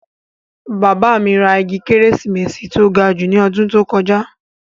Bàbá mi ra igi kérésìmesì tó ga jù ní ọdún tó kọjá